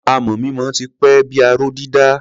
Amọ̀ mímọ ti pẹ́ bí i aró dídà.